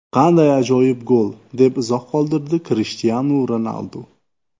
Qanday ajoyib gol!”, deb izoh qoldirdi Krishtianu Ronaldu.